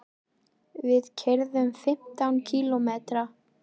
Við keyrum fimmtán kílómetra.